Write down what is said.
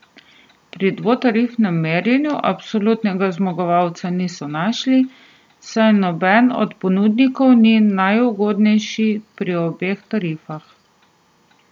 Pri dvotarifnem merjenju absolutnega zmagovalca niso našli, saj nobeden od ponudnikov ni najugodnejši pri obeh tarifah.